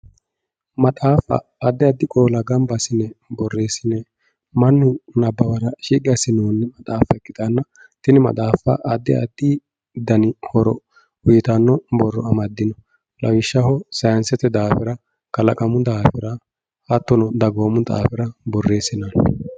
maxaaffa addi addi qoola gamba assine borreessine mannu nabbawara shiqqi assinoonni maxaaffa ikkitanna tini maxaaffa addi addi horo uyiitanno borro amaddino lawishshaho sayiinsete daafira kalaqamu daafira hattono kalaqamu daafira borreessinoonni